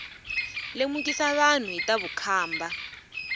lemukisa vanhu hi ta vukhamba